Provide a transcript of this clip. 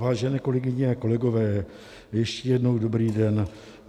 Vážené kolegyně a kolegové, ještě jednou dobrý den.